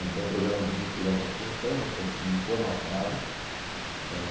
Então, o programa de mutirão com autogestão, nós conseguimos formatá-lo. Ãh